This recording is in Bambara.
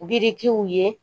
Birikiw ye